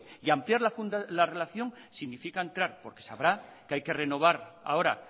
y ampliar la relación significa porque sabrá que hay que renovar ahora